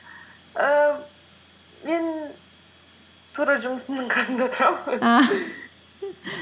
ііі мен тура жұмысымның қасында тұрамын